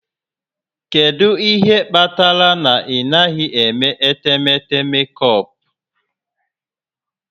Kedu ihe kpatara na ị naghị eme etemeete mekọpụ?